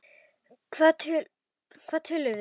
Hvað töluðum við um?